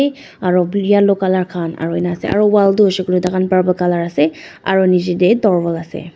aru briyalow colour khan aru enika asa aru wall toh hoisey koiley purple colour ase aru nichey tae dorwal ase